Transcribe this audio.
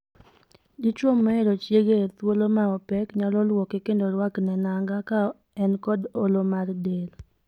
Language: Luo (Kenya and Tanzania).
Dichwo mohero chiege e thuolo ma opek nyalo luoke kendo rwakne nanga ka en kod olo mar del.